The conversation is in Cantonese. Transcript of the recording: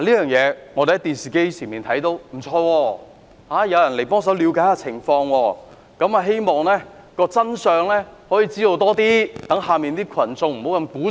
我們看到電視畫面，感覺還不錯，有人幫忙了解情況，希望可以弄清楚更多真相，讓下面的群眾減少鼓噪。